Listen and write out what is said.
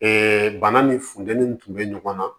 bana ni funtɛni tun bɛ ɲɔgɔn na